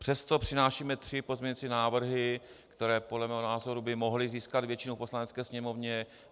Přesto přinášíme tři pozměňovací návrhy, které podle mého názoru by mohly získat většinu v Poslanecké sněmovně.